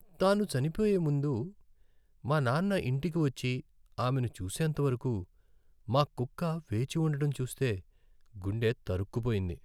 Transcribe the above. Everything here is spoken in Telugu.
తాను చనిపోయే ముందు మా నాన్న ఇంటికి వచ్చి ఆమెను చూసేంతవరకు మా కుక్క వేచి ఉండటం చూస్తే గుండె తరుక్కుపోయింది.